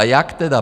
A jak tedy?